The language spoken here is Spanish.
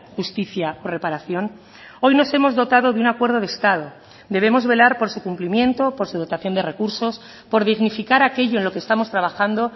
justicia o reparación hoy nos hemos dotado de un acuerdo de estado debemos velar por su cumplimiento por su dotación de recursos por dignificar aquello en lo que estamos trabajando